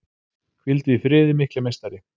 Hvíldu í friði mikli meistari!